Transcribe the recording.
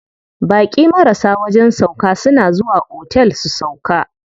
Baƙi marasa wajen sauƙa suna zuwa otel su sauƙa.